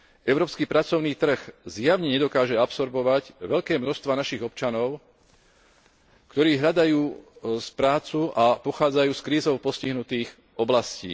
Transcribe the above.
Európsky pracovný trh zjavne nedokáže absorbovať veľké množstvá našich občanov, ktorí hľadajú prácu a pochádzajú z krízou postihnutých oblastí.